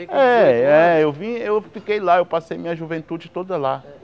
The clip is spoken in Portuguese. É é, eu vim eu fiquei lá, eu passei minha juventude toda lá.